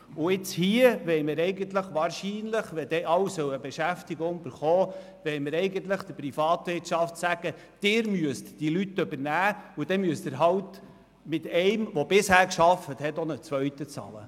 Nun wollen wir hier wahrscheinlich – wenn dann alle eine Beschäftigung erhalten sollen – der Privatwirtschaft sagen: Sie müssen diese Leute übernehmen, und dann müssen Sie halt mit einem, der bisher gearbeitet hat, auch einen zweiten bezahlen.